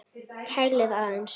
Kælið aðeins.